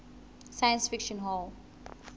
science fiction hall